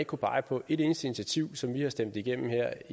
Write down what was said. kunne pege på et eneste initiativ som vi har stemt igennem her